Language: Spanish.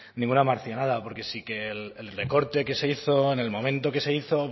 ninguna marcianada porque sí que el recorte que se hizo en el momento que se hizo